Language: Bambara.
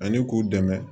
Ani k'u dɛmɛ